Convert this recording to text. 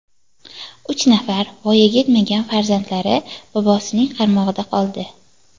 Uch nafar voyaga yetmagan farzandlari bobosining qaramog‘ida qoldi.